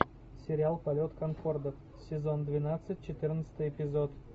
сериал полет конкорда сезон двенадцать четырнадцатый эпизод